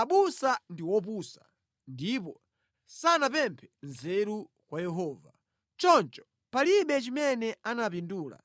Abusa ndi opusa ndipo sanapemphe nzeru kwa Yehova; choncho palibe chimene anapindula